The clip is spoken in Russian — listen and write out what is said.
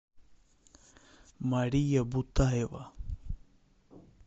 мария бутаева